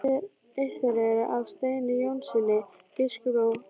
Eitt þeirra er af Steini Jónssyni biskupi á